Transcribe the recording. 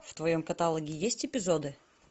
в твоем каталоге есть эпизоды